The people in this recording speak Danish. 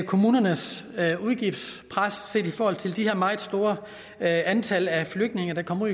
kommunernes udgiftspres set i forhold til de her meget store antal af flygtninge der kommer